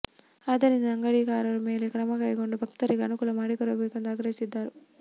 ಆದ್ದರಿಂದ ಅಂಗಡಿಕಾರರ ಮೇಲೆ ಕ್ರಮಕೈಗೊಂಡು ಭಕ್ತರಿಗೆ ಅನುಕೂಲ ಮಾಡಿ ಕೊಡಬೇಕೆಂದು ಆಗ್ರಹಿಸಿದ್ದಾರೆ